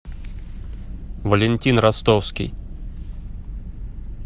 валентин ростовский